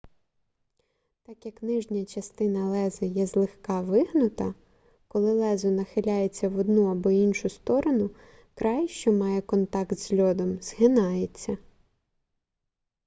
так як нижня частина леза є злегка вигнута коли лезо нахиляється в одну або іншу сторону край що має контакт з льодом згинається